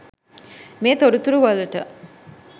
මේ තොරතුරු වලට